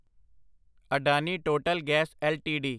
Adani total gas LTD